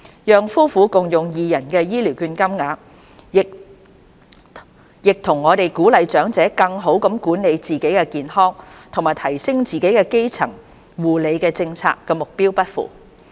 讓夫婦共用二人的醫療券金額，亦與我們鼓勵長者更好地管理自己的健康和提升自己基層護理的政策目標不符。